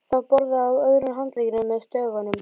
Það var borði á öðrum handleggnum með stöfunum